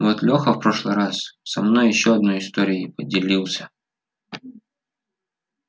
вот леха в прошлый раз со мной ещё одной историей поделился